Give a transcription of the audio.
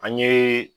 An ye